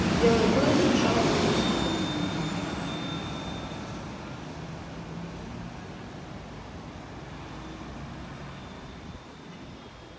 белый клык мешал ему грести